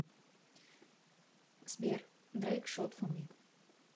сбер дрэйк шот фо ми